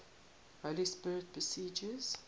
holy spirit proceeds